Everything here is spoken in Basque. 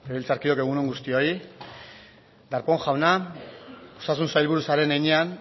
legebiltzarkideok egun on guztioi darpón jauna osasun sailburu zaren heinean